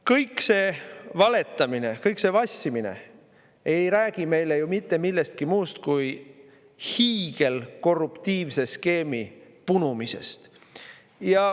Kõik see valetamine, kõik see vassimine ei räägi meile ju mitte millestki muust kui hiigelkorruptiivse skeemi punumisest.